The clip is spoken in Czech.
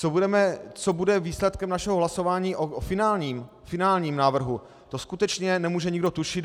Co bude výsledkem našeho hlasování o finálním návrhu, to skutečně nemůže nikdo tušit.